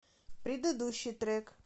предыдущий трек